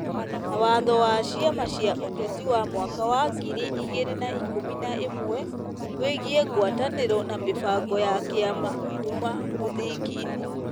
Na watho wa ciama cia ũteti wa mwaka wa ngiri igĩrĩ na ikũmi na ĩmwe , wĩgiĩ ngwatanĩro na mĩbango ya kĩama kuuma mũthingi-inĩ.